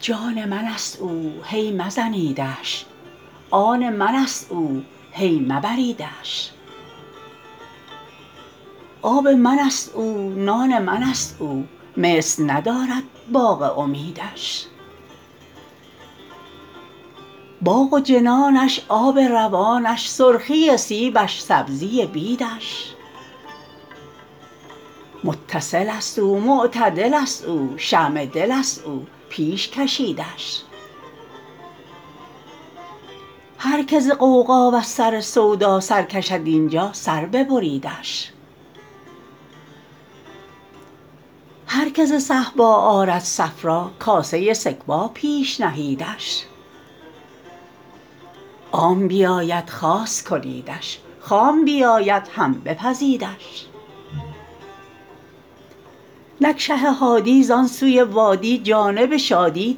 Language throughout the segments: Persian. جان من ست او هی مزنیدش آن من ست او هی مبریدش آب من ست او نان من ست او مثل ندارد باغ امیدش باغ و جنانش آب روانش سرخی سیبش سبزی بیدش متصل ست او معتدل ست او شمع دل ست او پیش کشیدش هر که ز غوغا وز سر سودا سر کشد این جا سر ببریدش هر که ز صهبا آرد صفرا کاسه سکبا پیش نهیدش عام بیاید خاص کنیدش خام بیاید هم بپزیدش نک شه هادی زان سوی وادی جانب شادی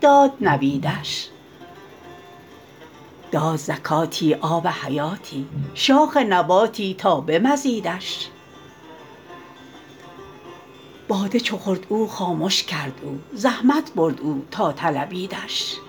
داد نویدش داد زکاتی آب حیاتی شاخ نباتی تا به مزیدش باده چو خورد او خامش کرد او زحمت برد او تا طلبیدش